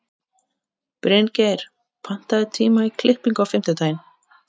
Bryngeir, pantaðu tíma í klippingu á fimmtudaginn.